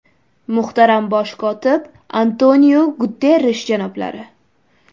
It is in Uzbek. Muhtaram Bosh kotib Antoniu Guterrish janoblari!